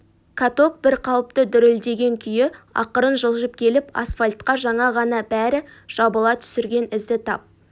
каток бір қалыпты дүрілдеген күйі ақырын жылжып келіп асфальтқа жаңа ғана бәрі жабыла түсірген ізді тап